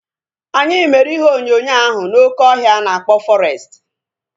Anyị mere ihe onyonyo ahu n'oké ọhịa ana akpọ fọrestị